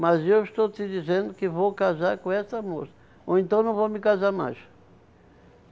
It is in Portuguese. Mas eu estou te dizendo que vou casar com essa moça, ou então não vou me casar mais.